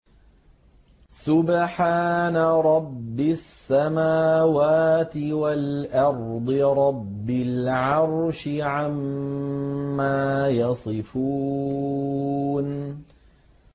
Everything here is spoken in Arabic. سُبْحَانَ رَبِّ السَّمَاوَاتِ وَالْأَرْضِ رَبِّ الْعَرْشِ عَمَّا يَصِفُونَ